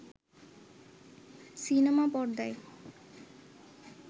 cinema পর্দায়